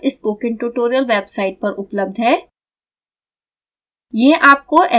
यह tutorial spoken tutorial website पर उपलब्ध है